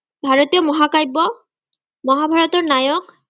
ভাৰতীয় মহাকাব্য মহাভাৰতৰ নায়ক